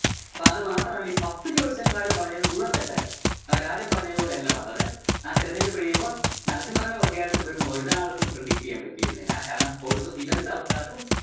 അപ്പോ അത് മാത്രമല്ല ഈ പത്ത് ജ്യോൽസ്യന്മാരും പറഞ്ഞത് മുഴുവൻ തെറ്റായിരുന്നു. അവരാരും പറഞ്ഞതുപോലെ അല്ല വന്നത്. ആ തെരഞ്ഞെടുപ്പ് കഴിയുമ്പം നരസിംഹ റാവു അധികാരത്തിൽ വരുമെന്ന് ഒരാൾക്കും predict ചെയ്യാൻ പറ്റിയിരുന്നില്ല. കാരണം ആൾക്കാർക്കും.